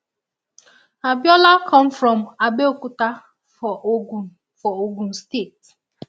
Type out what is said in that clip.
abiola come from abeokuta for ogun for ogun state